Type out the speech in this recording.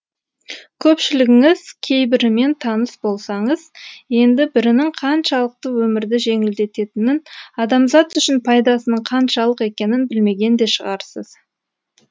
көпшілігіңіз кейбірімен таныс болсаңыз енді бірінің қаншалықты өмірді жеңілдететінін адамзат үшін пайдасының қаншалық екенін білмеген де шығарсыз